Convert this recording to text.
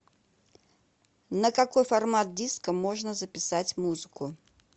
на какой формат диска можно записать музыку